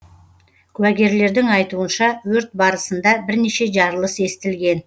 куәгерлердің айтуынша өрт барысында бірнеше жарылыс естілген